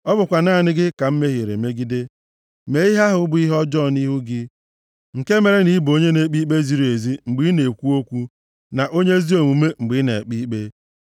Ọ bụkwa naanị gị ka m mehiere megide, mee ihe ahụ bụ ihe ọjọọ nʼihu gị, nke mere na ị bụ onye na-ekpe ikpe ziri ezi mgbe ị na-ekwu okwu, na onye ezi omume mgbe ị na-ekpe ikpe.